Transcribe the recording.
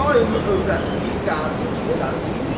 Daimi övrətliyi qəbul elədim.